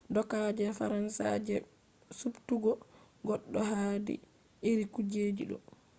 doka je faransa je subtugo goddo hadi iri kujeji do